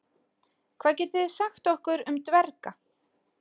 Hvað getið þið sagt okkur um dverga?